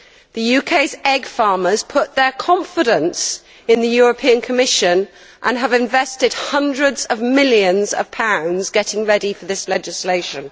The UK's egg farmers put their confidence in the Commission, and have invested hundreds of millions of pounds getting ready for this legislation.